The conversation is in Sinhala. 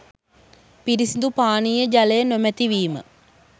පිරිසිදු පානීය ජලය නොමැතිවීම